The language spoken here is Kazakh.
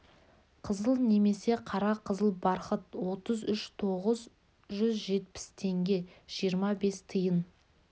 қызыл немесе қара қызыл бархыт отыз үш тоғыз жүз жетпіс теңге жиырма бес тиын